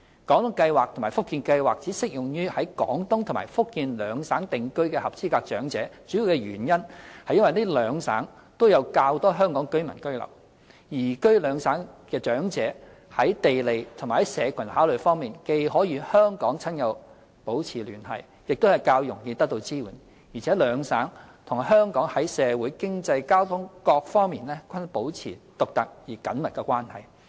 "廣東計劃"及"福建計劃"只適用於在廣東和福建兩省定居的合資格長者，主要原因是廣東和福建兩省都有較多香港居民居留，移居廣東和福建兩省的長者在地利和社群考慮方面，既可與香港親友保持聯繫，亦較容易得到支援，而且廣東和福建兩省與香港在社會、經濟、交通等各方面均保持獨特而緊密的關係。